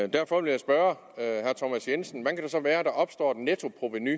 derfor vil jeg spørge herre thomas jensen hvordan kan det så være at der opstår et nettoprovenu